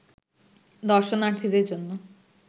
দর্শনার্থীদের জন্য